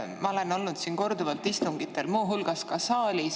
Ma olen olnud korduvalt siin istungitel, muu hulgas ka saalis.